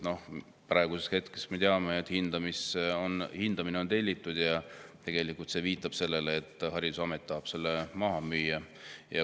No praeguseks hetkeks me teame, et hoone hindamine on tellitud, ja see viitab sellele, et see tahetakse maha müüa.